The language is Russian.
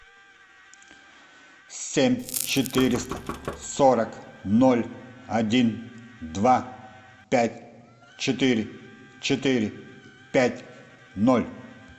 семь четыреста сорок ноль один два пять четыре четыре пять ноль